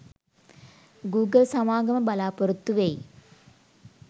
Google සමාගම බලාපොරොත්තු වෙයි